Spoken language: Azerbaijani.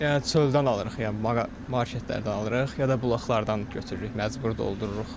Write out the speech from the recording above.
Yəni çöldən alırıq, yəni marketlərdən alırıq, ya da bulaqlardan götürürük, məcbur doldururuq.